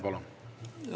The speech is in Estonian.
Palun!